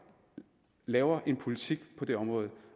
laver en politik på det område